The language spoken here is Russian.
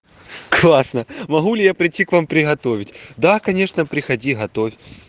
классно могу ли я прийти к вам приготовить да конечно приходи готовь